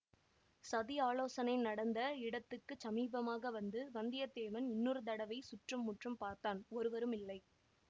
சதியாலோசனை நடந்த இடத்துக்கு சமீபமாக வந்து வந்தியத்தேவன் இன்னொரு தடவை சுற்று முற்றும் பார்த்தான் ஒருவருமில்லை